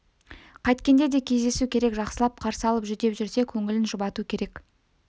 қайткенде де кездесу керек жақсылап қарсы алып жүдеп жүрсе көңілін жұбату керек